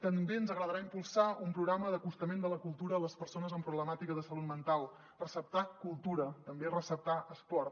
també ens agradarà impulsar un programa d’acostament de la cultura a les persones amb problemàtica de salut mental receptar cultura també receptar esport